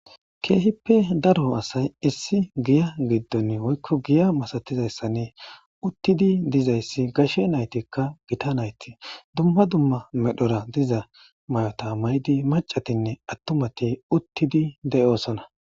keehippe daro asay issi giya giddon woykko giya masatizayssanne uttidi dizayssi gashe naytikka gita nayti dumma dumma medhora diza mayota maydi macatinne attumati uttidi de'osona.